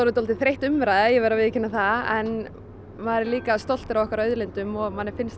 dálítið þreytt umræða ég viðurkenni það en maður er líka stoltur af okkar auðlindum og manni finnst